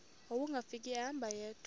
wawungafika ehamba yedwa